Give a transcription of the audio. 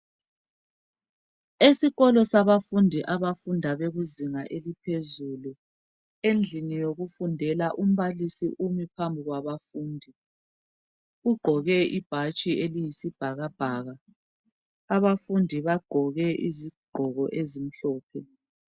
Esikolo sabafundi abafunda bekuzinga eliphezulu endlini yokufundela umbalisi umi phambi kwabafundi ugqoke ibhatshi eliyisibhakabhaka. Abafundi bagqoke izigqoko ezimhlophe.